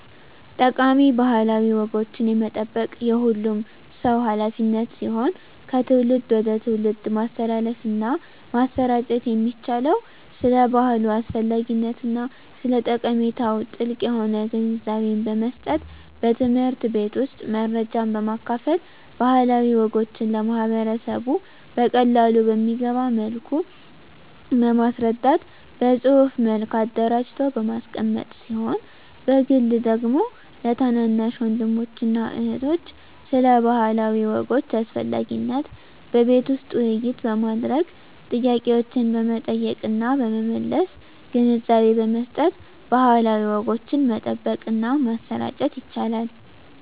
ጠቃሚ ባህላዊ ወጎችን የመጠበቅ የሁሉም ሰው ሀላፊነት ሲሆን ከትውልድ ወደ ትውልድ ማስተላለፍና ማሰራጨት የሚቻለው ስለ ባህሉ አስፈላጊነትና ስለ ጠቀሜታው ጥልቅ የሆነ ግንዛቤን በመስጠት በትምህርት ቤት ውስጥ መረጃን በማካፈል ባህላዊ ወጎችን ለማህበረሰቡ በቀላሉ በሚገባ መልኩ በማስረዳት በፅሁፍ መልክ አደራጅቶ በማስቀመጥ ሲሆን በግል ደግሞ ለታናናሽ ወንድሞችና እህቶች ስለ ባህላዊ ወጎች አስፈላጊነት በቤት ውስጥ ውይይት በማድረግ ጥያቄዎችን በመጠየቅና በመመለስ ግንዛቤ በመስጠት ባህላዊ ወጎችን መጠበቅና ማሰራጨት ይቻላል።